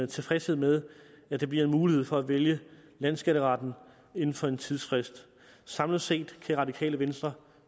tilfredshed med at der bliver mulighed for at vælge landsskatteretten inden for en tidsfrist samlet set kan det radikale venstre